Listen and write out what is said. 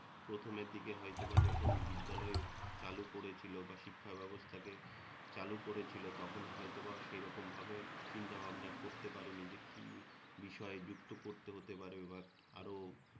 প্রথমের দিকে হয়তোবা যখন বিদ্যালয় চালু করেছিল, বা শিক্ষা ব্যবস্থাকে চালু করেছিল, তখন হয়তোবা সেই রকমভাবে চিন্তাভাবনা করতে পারেনি যে কি বিষয় যুক্ত করতে হতে পারে বা আরও